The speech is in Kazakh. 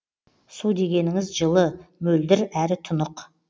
су дегеніңіз жылы мөлдір әрі тұнық